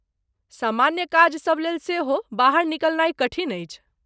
सामान्य काजसभ लेल सेहो बाहर निकलनाइ कठिन अछि।